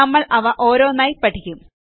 നമ്മൾ അവ ഓരോന്നായി പഠിക്കും